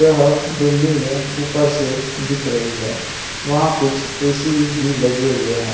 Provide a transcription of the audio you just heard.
यहां बिल्डिंगे ऊपर से दिख रही हैं वहां कुछ ए_सी भी लगे हुए हैं।